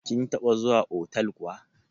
Kin taɓa zuwa otal kuwa?